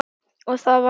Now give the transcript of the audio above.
Og það var hann.